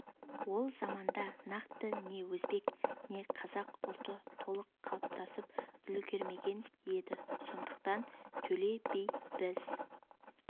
ол заманда нақты не өзбек не қазақ ұлты толық қалыптасып үлгермеген еді сондықтан төле би біз